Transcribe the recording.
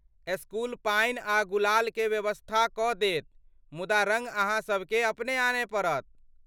School पानि आ गुलाल के व्यवस्था कऽ देत ,मुदा रङ्ग अहाँसबकेँ अपने आनय पड़त।